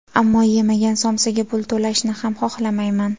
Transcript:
Ammo, yemagan somsaga pul to‘lashni ham, xohlamayman.